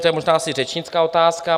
To je možná asi řečnická otázka.